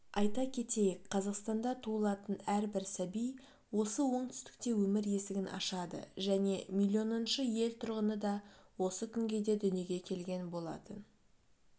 айта кетейік қазақстанда туылатын әрбір сәби осы оңтүстікте өмір есігін ашады және миллионыншы ел тұрғыны да осы күнгейде дүниеге келген болатын